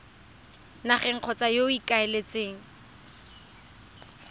nageng kgotsa yo o ikaeletseng